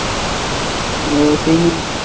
ও সে english?